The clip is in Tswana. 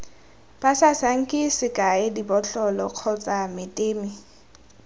basasanki sekai dibotlolo kgotsa meteme